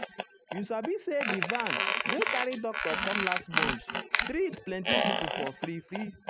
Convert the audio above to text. you um sabi say di van wey carry doctor come last month treatehm plenty people for free. free.